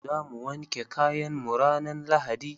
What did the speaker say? Za mu wanke kayan mu ranan lahadi.